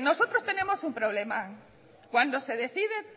nosotros tenemos un problema cuando se decide